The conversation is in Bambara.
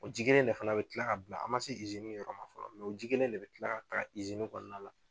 O ji kelen de fana bi kila ka bila an ma se yɔrɔ ma fɔlɔ o ji kelen de bi kila ka taa kɔnɔna la.